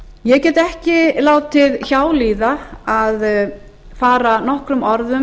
ég get ekki látið hjá líða að fara nokkrum orðum